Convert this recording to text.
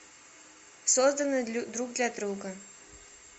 созданы друг для друга